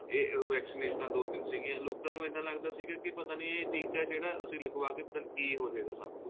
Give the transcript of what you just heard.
ਇਹ ਉਹ vaccinations ਦੋ ਤਿੰਨ ਸੀਗੀਆ ਲੋਕਾਂ ਨੂੰ ਇੱਦਾਂ ਲੱਗਦਾ ਸੀਗਾ ਪਤਾ ਨਹੀਂ ਏ ਟੀਕਾ ਏ ਜਿਹੜਾ ਅਸੀਂ ਲਗਵਾਕੇ ਪਤਾ ਨਹੀਂ ਕੀ ਹੋ ਜਾਏਗਾ ਸਾਨੂੰ